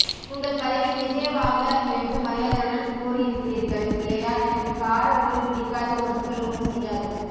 உங்கள் பதிவில் விஜய வாங்க என்று மரியாதையுடன் கூறி இருக்கிறீர்கள் இல்லையா எனக்கு கார உணவுபிடிக்காது ஒத்துக் கொள்ளவும் செய்யாது